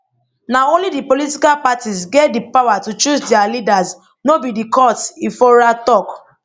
na only di political parties get di powers to choose dia leaders no be di courts ifora tok